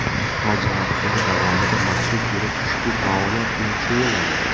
Haj mavsumi davomida maxsus guruh ushbu faoliyat bilan shug‘ullanadi.